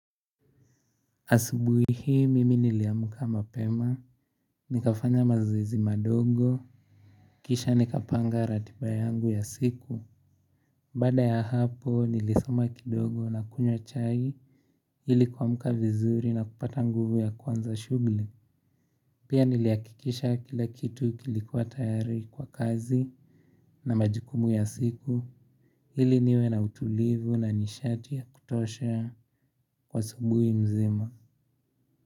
Asubui hii mimi niliamka mapema, nikafanya mazoezi madogo, kisha nikapanga ratiba yangu ya siku, baada ya hapo nilisoma kidogo na kunywa chai ili kuamka vizuri na kupata nguvu ya kuanza shughuli. Pia nilihakikisha kila kitu kilikuwa tayari kwa kazi, na majukumu ya siku, ili niwe na utulivu na nishati ya kutosha kwa asubuhi nzima.